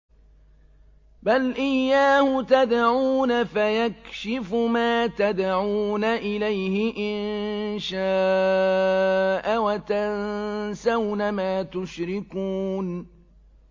بَلْ إِيَّاهُ تَدْعُونَ فَيَكْشِفُ مَا تَدْعُونَ إِلَيْهِ إِن شَاءَ وَتَنسَوْنَ مَا تُشْرِكُونَ